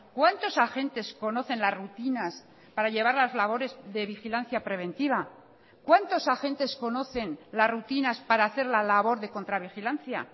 cuántos agentes conocen las rutinas para llevar las labores de vigilancia preventiva cuántos agentes conocen las rutinas para hacer la labor de contra vigilancia